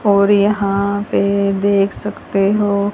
और यहां पे देख सकते हो--